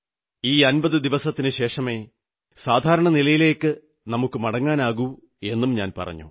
ഈ 50 ദിവസത്തിനുശേഷമേ സാധാരണ നിലയിലേക്കു മടങ്ങാനാകൂ എന്നും പറഞ്ഞു